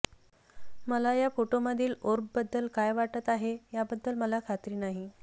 मला या फोटोंमधील ओर्बबद्दल काय वाटत आहे याबद्दल मला खात्री नाही